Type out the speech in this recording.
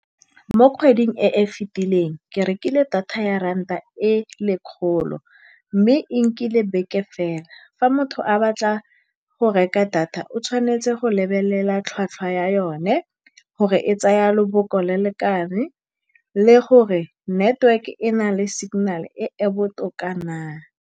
Mo kgweding e e fetileng, ke rekile data ya ranta e e lekgolo mme e nkile beke fela. Fa motho a batla go reka data, o tshwanetse go lebelela tlhwatlhwa ya yone, gore e tsaya lobaka le le kae, le gore network-e e na le signal-e e e botoka na.